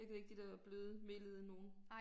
Jeg kan ikke de dér bløde melede nogle